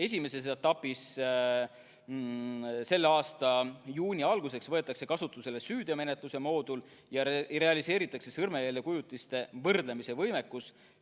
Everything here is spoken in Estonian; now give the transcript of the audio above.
Esimeses etapis, selle aasta juuni alguseks, võetakse kasutusele süüteomenetluse moodul ja realiseeritakse sõrmejäljekujutiste võrdlemise võimekus.